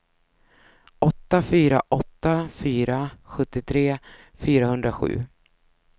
åtta fyra åtta fyra sjuttiotre fyrahundrasju